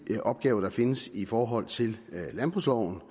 hvilke opgaver der findes i forhold til landbrugsloven og